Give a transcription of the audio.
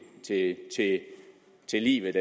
til livet